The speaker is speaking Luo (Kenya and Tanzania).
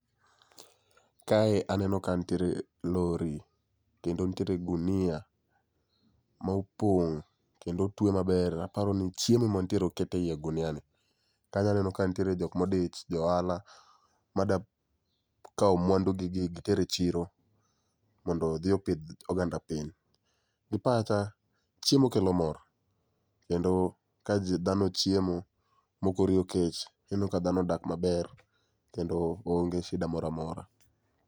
Kae aneno ka ntiere lori kendo ntiere gunia ma opong' kendo otweye maber, aparo ni chiemo mantiere oke e i ogunia ni. Kanyaneno ka ntiere jokmodich, johala madwa kawo mwandu gi gi giter e chiro, mondo odhi opidh oganda piny. Gi pacha, chiemo kelo mor, kendo ka ji dhano ochiemo mokoriyo kech, ineno ka dhano odak maber. Kendo oonge shida moramora.